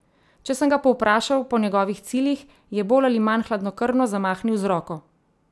Če sem ga povprašal po njegovih ciljih, je bolj ali manj hladnokrvno zamahnil z roko.